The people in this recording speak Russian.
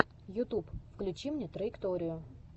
ютуб включи мне траекторию